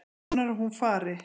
Vonar að hún fari.